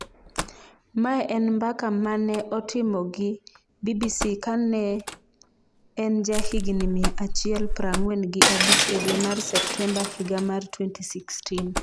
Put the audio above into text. Mae en mbaka mane otimo gi BBC kane en jahigni mia achiel prang'wen gi abich e dwe mar Septemba higa mar 2016.